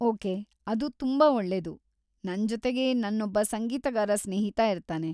Okay, ಅದು ತುಂಬಾ ಒಳ್ಳೇದು. ನನ್ಜೊತೆಗೆ ನನ್ನೊಬ್ಬ ಸಂಗೀತಗಾರ ಸ್ನೇಹಿತ ಇರ್ತಾನೆ.